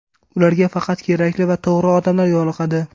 Ularga faqat kerakli va to‘g‘ri odamlar yo‘liqadi.